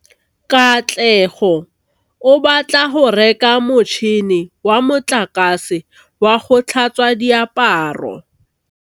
Katlego o batla go reka motšhine wa motlakase wa go tlhatswa diaparo.